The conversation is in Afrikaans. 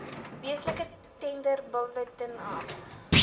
weeklikse tenderbulletin af